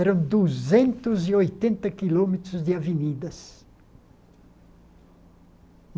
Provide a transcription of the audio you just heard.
Eram duzentos e oitenta quilômetros de avenidas.